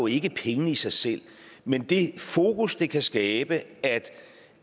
ikke pengene i sig selv men det fokus det kan skabe